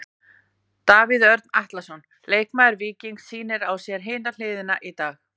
Davíð Örn Atlason, leikmaður Víkings sýnir á sér hina hliðina í dag.